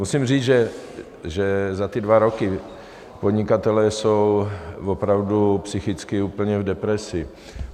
Musím říct, že za ty dva roky podnikatelé jsou opravdu psychicky úplně v depresi.